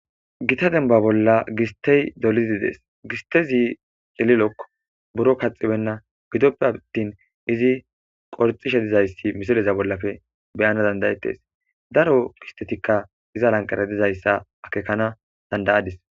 Gitta dembba bolla gisttey dolizze de'es. Gisttezi cililokko. Birro kaxxibbenna. Gidope attin izi kolxxishe dizayssi misileza bollappe be'anaw danda'ettes. Daro gisttetikka iza lanqqera dizayssa akekana danda'adis.